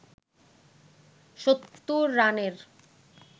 ৭০ রানের